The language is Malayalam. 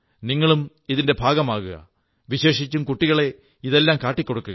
നിങ്ങളും ഇതിന്റെ ഭാഗമാകുക വിശേഷിച്ചും കുട്ടികളെ ഇതെല്ലാം കാട്ടിക്കൊടുക്കുക